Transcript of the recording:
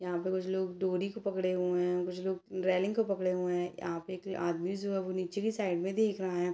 यहाँ पे कुछ लोग डोरी को पकड़े हुए है कुछ लोग रेलिंग को पकड़े हुए है यहाँ पे एक आदमी जो है वो नीचे की साइड में देख रहा है।